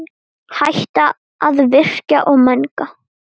Hætta að virkja og menga.